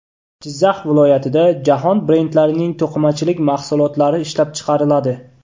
Jizzax viloyatida jahon brendlarining to‘qimachilik mahsulotlari ishlab chiqariladi!.